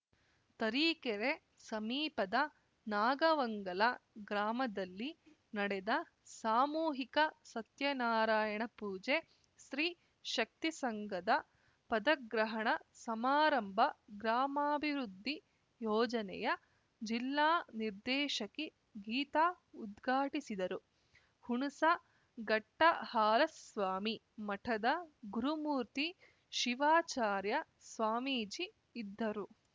ತರೀಕೆರೆ ಸಮೀಪದ ನಾಗವಂಗಲ ಗ್ರಾಮದಲ್ಲಿ ನಡೆದ ಸಾಮೂಹಿಕ ಸತ್ಯನಾರಾಯಣ ಪೂಜೆ ಸ್ತ್ರೀ ಶಕ್ತಿ ಸಂಘದ ಪದಗ್ರಹಣ ಸಮಾರಂಭ ಗ್ರಾಮಾಭಿವೃದ್ಧಿ ಯೋಜನೆಯ ಜಿಲ್ಲಾ ನಿರ್ದೇಶಕಿ ಗೀತಾ ಉದ್ಘಾಟಿಸಿದರು ಹುಣಸಘಟ್ಟಹಾಲಸ್ವಾಮಿ ಮಠದ ಗುರುಮೂರ್ತಿ ಶಿವಾಚಾರ್ಯ ಸ್ವಾಮೀಜಿ ಇದ್ದರು